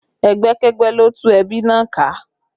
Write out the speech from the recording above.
Ẹgbẹ́kẹ́gbẹ́ ló tú ẹbí náà ká